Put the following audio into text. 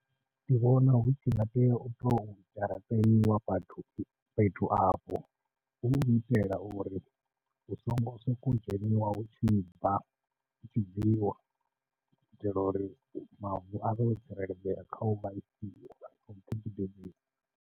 Ndi vhona hu tshi nga tea u tou dzharaṱeliwa vhathu fhethu afho, hu u itela uri hu songo sokou dzheniwa hu tshi bva, hu tshi bviwa u itela uri mavu a vhe o tsireledzea kha u vha .